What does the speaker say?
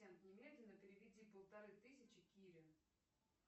немедленно переведи полторы тысячи кире